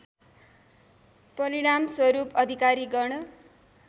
परिणामस्वरूप अधिकारी गण